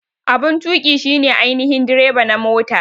Abun tuƙi shi ne ainihin direba na mota.